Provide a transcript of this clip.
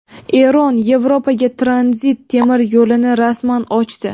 Eron Yevropaga tranzit temir yo‘lini rasman ochdi.